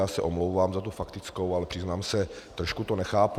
Já se omlouvám za tu faktickou, ale přiznám se, trošku to nechápu.